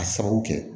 A sababu kɛ